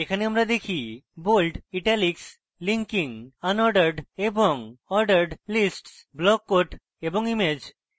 এখানে আমরা দেখি bold italics linking unordered এবং ordered lists block quote এবং image